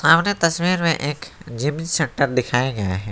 सामने तस्वीर में एक जिम सेंटर दिखाया गया है।